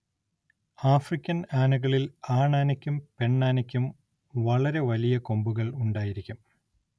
African ആനകളിൽ ആണാനയ്ക്കും പെണ്ണാനയ്ക്കും വളരെ വലിയ കൊമ്പുകൾ ഉണ്ടായിരിക്കും.